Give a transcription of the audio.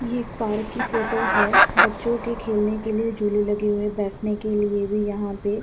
ये पार्क की फोटो है। बच्चों के खेलने के लिए झूले लगे हुए हैं। बैठने के लिए भी यहां पे --